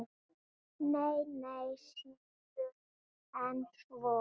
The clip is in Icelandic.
Nei, nei, síður en svo.